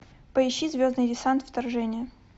поищи звездный десант вторжение